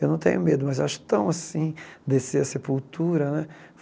Eu não tenho medo, mas acho tão assim, descer a sepultura, né?